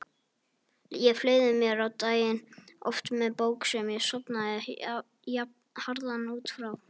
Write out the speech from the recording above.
Ég fleygði mér á daginn, oft með bók sem ég sofnaði jafnharðan út frá.